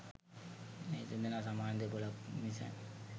මේ දෙදෙනා සමාන දෙපොළක් මිස